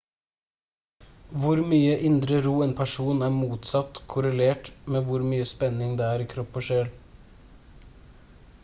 hvor mye indre ro en person er motsatt korrelert med hvor mye spenning det er i kropp og sjel